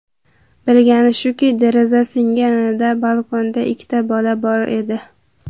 Bilgani shuki, deraza singanida balkonda ikkita bola bor edi.